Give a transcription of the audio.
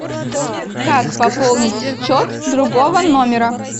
как пополнить счет другого номера